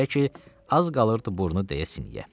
Belə ki, az qalırdı burnu dəyə sinyə.